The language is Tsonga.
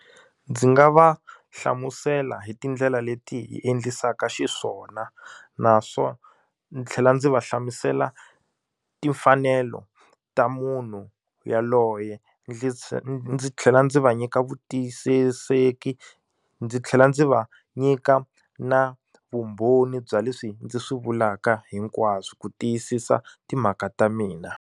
Ndzi nga va hlamusela hi tindlela leti hi endlisaka xiswona ndzi tlhela ndzi va hlamusela timfanelo ta munhu yaloye ndzi tlhela ndzi va nyika vutiyisiseki ndzi tlhela ndzi va nyika na vumbhoni bya leswi ndzi swi vulaka hinkwaswo ku tiyisisa timhaka ta mina.